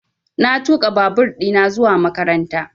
Na tuƙa babur ɗina zuwa makaranta